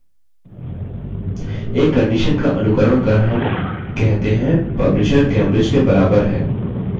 एक condition का अनुकरण कर हम कहते हैं publisher cambridge के बराबर है